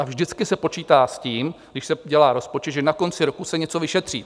A vždycky se počítá s tím, když se dělá rozpočet, že na konci roku se něco vyšetří.